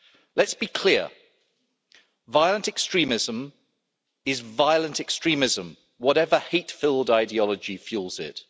Let's be clear violent extremism is violent extremism, whatever hate-filled ideology fuels it.